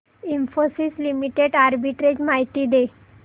Infosys limited arbitrage माहिती दे